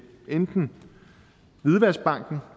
enten hvidvaskbanken